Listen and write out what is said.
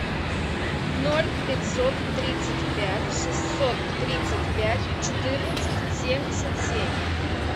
ноль пятьсот тридцать пять шестьсот тридцать пять четырнадцать семьдесят семь